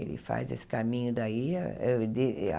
Ele faz esse caminho daí. A de a